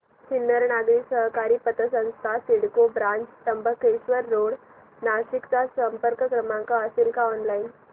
सिन्नर नागरी सहकारी पतसंस्था सिडको ब्रांच त्र्यंबक रोड नाशिक चा संपर्क क्रमांक असेल का ऑनलाइन